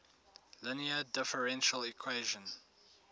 linear differential equation